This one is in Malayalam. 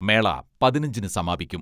മേള പതിനഞ്ചിന് സമാപിക്കും.